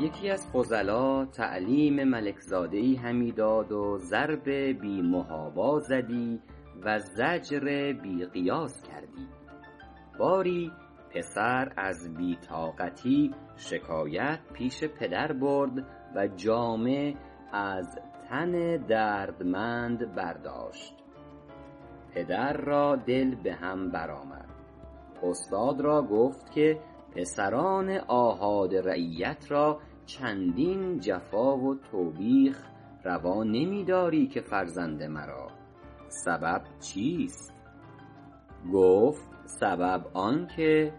یکی از فضلا تعلیم ملک زاده ای همی داد و ضرب بی محابا زدی و زجر بی قیاس کردی باری پسر از بی طاقتی شکایت پیش پدر برد و جامه از تن دردمند برداشت پدر را دل به هم بر آمد استاد را گفت که پسران آحاد رعیت را چندین جفا و توبیخ روا نمی داری که فرزند مرا سبب چیست گفت سبب آن که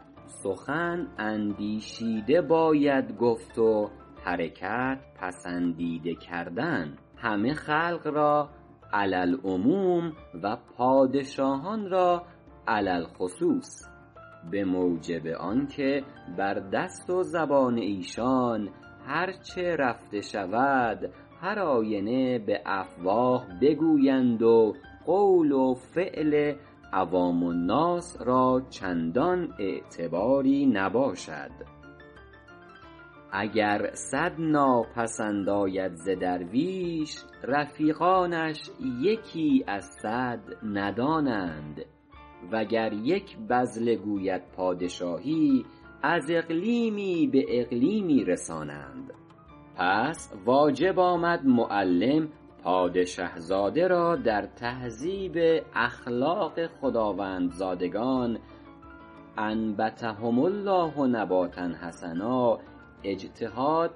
سخن اندیشیده باید گفت و حرکت پسندیده کردن همه خلق را علی العموم و پادشاهان را علی الخصوص به موجب آنکه بر دست و زبان ایشان هر چه رفته شود هر آینه به افواه بگویند و قول و فعل عوام الناس را چندان اعتباری نباشد اگر صد ناپسند آید ز درویش رفیقانش یکی از صد ندانند وگر یک بذله گوید پادشاهی از اقلیمی به اقلیمی رسانند پس واجب آمد معلم پادشه زاده را در تهذیب اخلاق خداوندزادگان أنبتهم الله نباتا حسنا اجتهاد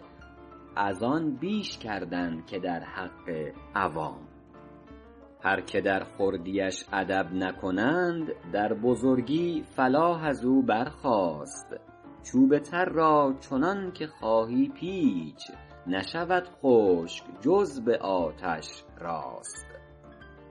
از آن بیش کردن که در حق عوام هر که در خردیش ادب نکنند در بزرگی فلاح از او برخاست چوب تر را چنان که خواهی پیچ نشود خشک جز به آتش راست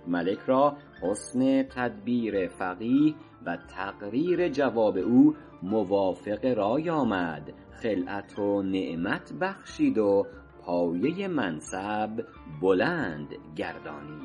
ملک را حسن تدبیر فقیه و تقریر جواب او موافق رای آمد خلعت و نعمت بخشید و پایه منصب بلند گردانید